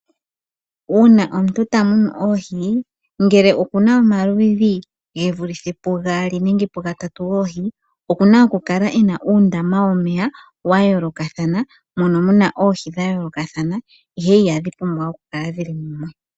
Uuna omuntu ta munu oohi, ngele oku na omaludhi ge vule pugaali nenge pugatatu goohi oku na okukala e na uundama womeya wa yoolokathana, mono mu na oohi dha yoolokathana ihe ihadhi pumbwa okukala dhili mumwe.